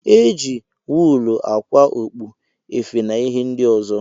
Eji wuulu ákwà okpu, efe na ihe ndị ọzọ.